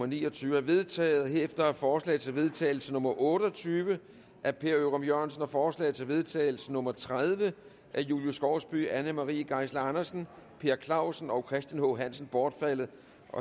ni og tyve er vedtaget herefter er forslag til vedtagelse nummer v otte og tyve af per ørum jørgensen og forslag til vedtagelse nummer v tredive af julie skovsby anne marie geisler andersen per clausen og christian h hansen bortfaldet